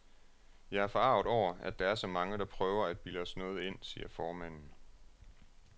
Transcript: Jeg er forarget over, at der er så mange, der prøver at bilde os noget ind, siger formanden.